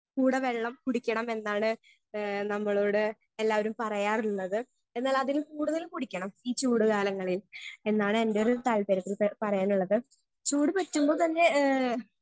Speaker 1 കൂടെ വെള്ളം കുടിക്കണം എന്നാണ് ഏ നമ്മളോട് എല്ലാവരും പറയാറുള്ളത് എന്നാലതിലും കൂടുതല് കുടിക്കണം ഈ ചൂടു കാലങ്ങളിൽ എന്നാണ് എന്റെയൊരു താൽപ്പര്യത്തിൽ പ പറയാനുള്ളത് ചൂട് പറ്റുമ്പോൾ തന്നെ ഏ.